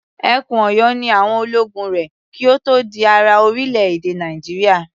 Ẹkùn Ọ̀yọ́ ni àwọn ológun rẹ̀ kí ó tó di ara orílẹ̀-èdè Nàìjíríà.